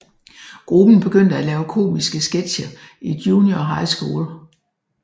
Gruppen begyndte at lave komiske sketcher i junior high school